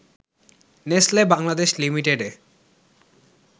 Nestle Bangladesh লিমিটেডে